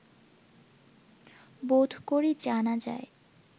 বোধ করি জানা যায়